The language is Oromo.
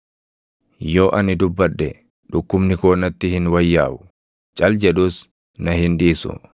“Yoo ani dubbadhe dhukkubni koo natti hin wayyaaʼu; cal jedhus na hin dhiisu.